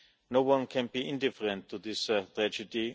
No one can be indifferent to this tragedy.